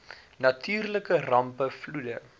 natuurlike rampe vloede